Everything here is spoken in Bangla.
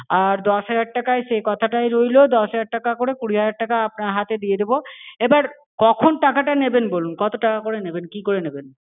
আর দশ হাজার টাকায় সে কথাটাই রইলো দশ হাজার টাকা করে কুড়ি হাজার টাকা আপনার হাতে দিয়ে দেবো। এবার কখন টাকাটা নেবেন বলুন। কত টাকা করে নেবেন? কি করে নেবেন?